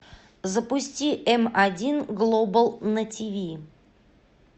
запусти эм один глобал на ти ви